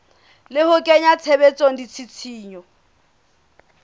le ho kenya tshebetsong ditshisinyo